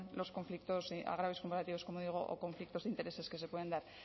los conflictos y agravios comparativos como digo o conflictos de intereses que se pueden dar